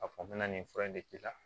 A fɔ n bɛna nin fura in de k'i la